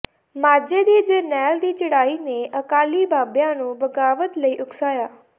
ਮਾਝੇ ਦੀ ਜਰਨੈਲ ਦੀ ਚੜ੍ਹਾਈ ਨੇ ਅਕਾਲੀ ਬਾਬਿਆਂ ਨੂੰ ਬਗ਼ਾਵਤ ਲਈ ਉਕਸਾਇਆ